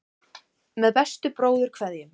Með bestu bróðurkveðjum.